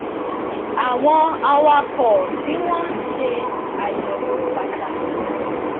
àwọn awakọ tí wọn ń ṣe àyẹwò pàtàkì